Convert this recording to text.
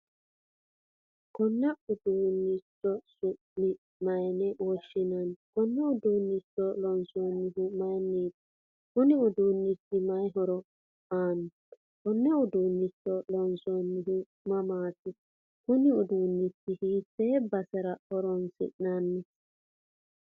Konne uduunichi su'ma mayiine woshshinanni.? Konne uduunicho loonsonihu mayiiniti.? Kunni uduunichi mayii horro aano.? Konne uduunicho loonsanihu mamati.? Kunno uduunicho hiite basserra horonisinanni.?